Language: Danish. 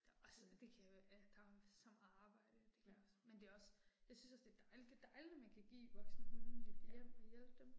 Der også, det kan jo, øh der er jo så meget arbejde det kan jeg også, men det også, jeg synes også det er dejligt, det er dejligt når man kan give voksne hunde et hjem og hjælpe dem